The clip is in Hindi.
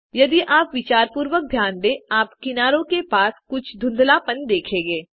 यदि आप विचारपूर्वक ध्यान दें आप किनारों के पास कुछ धुंधलापन देखेंगे